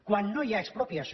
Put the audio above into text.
quan no hi ha expropiació